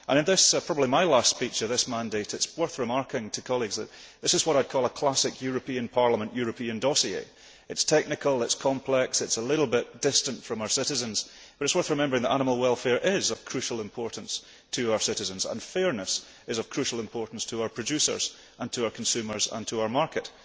In this speech, which is probably my last speech in this mandate, it is worth remarking to colleagues that this is what I call a classic European Parliament European dossier. It is technical, it is complex, it is a little bit distant from our citizens, but it is worth remembering that animal welfare is of crucial importance to our citizens, and fairness is of crucial importance to our producers, to our consumers and to our market.